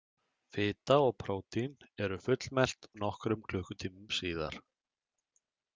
Fita og prótín eru fullmelt nokkrum klukkutímum síðar.